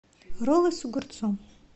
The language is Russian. роллы с огурцом